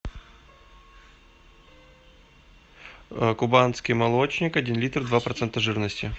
кубанский молочник один литр два процента жирности